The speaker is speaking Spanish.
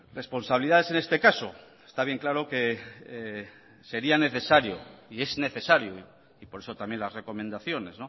responsabilidades en este caso está bien claro que sería necesario y es necesario y por eso también las recomendaciones